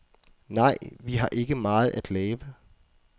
Nej, vi har ikke meget at lave.